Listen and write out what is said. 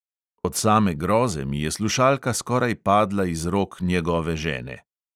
Od same groze mi je slušalka skoraj padla iz rok njegove žene!